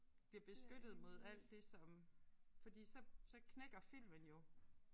Bliver beskyttet mod alt det som fordi så så knækker filmen jo